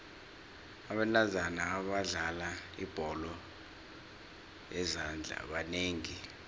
abentazana abadlala ibholo yezandla banengi